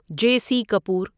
جے C Kapoor